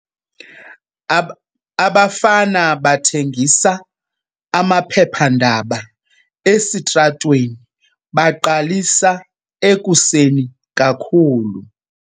Abafana abathengisa amaphephandaba esitratweni baqalisa ekuseni kakhulu.